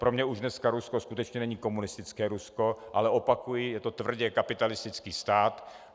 Pro mě už dneska Rusko skutečně není komunistické Rusko, ale opakuji, je to tvrdě kapitalistický stát.